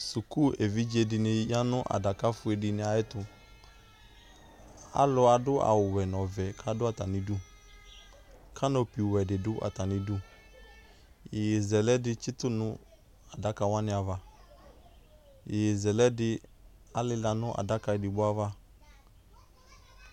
Suku evidzedɩnɩ ya nʋ adakafue dɩnɩ ayɛtʋ, alʋ adʋ awʋwɛ n'ɔvɛ k'adʋ atamidu kanoplwɛdɩ dʋ atamidu Iyeyezɛlɛdɩ tsɩtʋ n'adakawanɩ ava Iyeyezɛlɛdɩ alɩla nʋ adaka edigboava